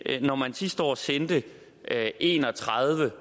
når man sidste år sendte en og tredive